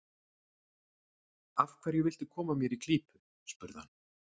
Af hverju viltu koma mér í klípu? spurði hann.